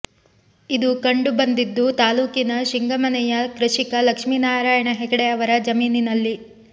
ಇದು ಕಂಡು ಬಂದಿದ್ದು ತಾಲೂಕಿನ ಶಿಂಗಮನೆಯ ಕೃಷಿಕ ಲಕ್ಷ್ಮೀನಾರಾಯಣ ಹೆಗಡೆ ಅವರ ಜಮೀನಿನಲ್ಲಿ